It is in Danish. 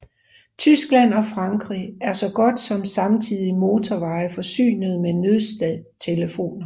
Tyskland og Frankrig er så godt som samtlige motorveje forsynet med nødtelefoner